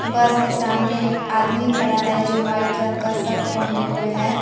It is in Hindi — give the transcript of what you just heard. बस के सामने एक आदमी खड़ा है जो वाइट रंग का शर्ट पहने हुए है।